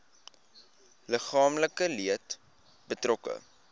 liggaamlike leed betrokke